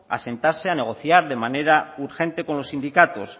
a sentarse a negociar de manera urgente con los sindicatos